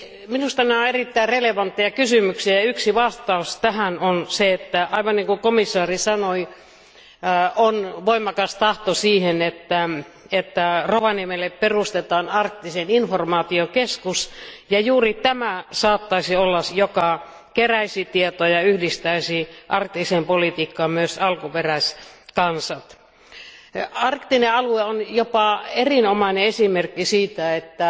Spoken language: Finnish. Minusta nämä ovat erittäin relevantteja kysymyksiä, ja yksi vastaus tähän on se, että aivan kuten komission jäsen sanoi, on voimakas tahto siihen, että Rovaniemelle perustetaan Arktisen informaation keskus, ja juuri tämä saattaisi olla se, joka keräisi tietoja ja yhdistäisi arktiseen politiikkaan myös alkuperäiskansat. Arktinen alue on jopa erinomainen esimerkki siitä, että